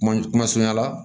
Kuma kuma surunya la